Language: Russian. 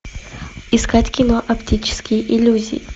искать кино оптические иллюзии